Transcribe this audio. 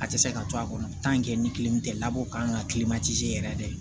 A tɛ se ka to a kɔnɔ ni kelen tɛ labɔ ka kan ka yɛrɛ